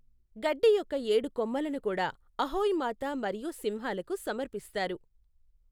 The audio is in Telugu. గడ్డి యొక్క ఏడు కొమ్మలను కూడా అహోయ్ మాత మరియు సింహాలకు సమర్పిస్తారు.